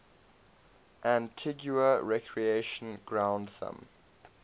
antigua recreation ground thumb